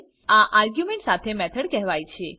આ આર્ગ્યુમેન્ટ સાથે મેથડ કહેવાય છે